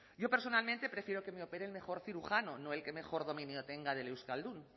yo personalmente prefiero que me opere el mejor cirujano no el que mejor dominio tenga del euskaldun